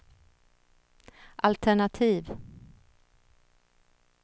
altenativ